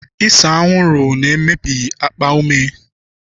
Ise anwụrụ na-emebi akpa ume.